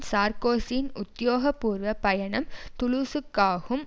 சார்க்கோசியின் உத்தியோக பூர்வ பயணம் துலூசுக்காகும்